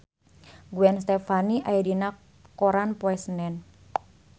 Gwen Stefani aya dina koran poe Senen